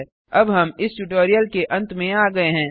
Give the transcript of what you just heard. httpspoken tutorialorgNMEICT Intro अब हम इस ट्यूटोरियल के अंत में आ गये हैं